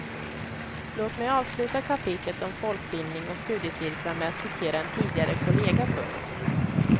Låt mig avsluta kapitlet om folkbildning och studiecirklar med att citera en tidigare kollega. punkt